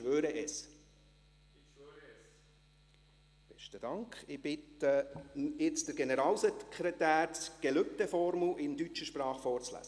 Ich bitte nun den Generalsekretär, die Gelübdeformel in deutscher Sprache vorzulesen.